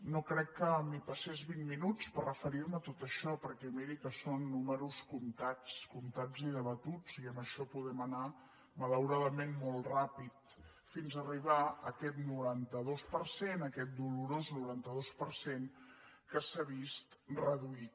no crec que m’hi passés vint minuts per referir·me a tot això perquè miri que són números comptats comptats i debatuts i amb això podem anar malauradament molt ràpid fins arribar a aquest noranta dos per cent a aquest dolorós noranta dos per cent que s’ha vist reduït